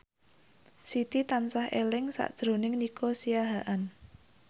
Siti tansah eling sakjroning Nico Siahaan